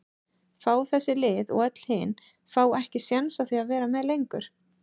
fá þessi lið og öll hin fá ekki séns á því að vera með lengur?